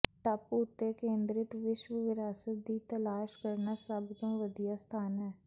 ਟਾਪੂ ਉੱਤੇ ਕੇਂਦਰਿਤ ਵਿਸ਼ਵ ਵਿਰਾਸਤ ਦੀ ਤਲਾਸ਼ ਕਰਨਾ ਸਭ ਤੋਂ ਵਧੀਆ ਸਥਾਨ ਹੈ